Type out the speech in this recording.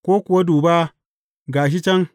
Ko kuwa, Duba, ga shi can!’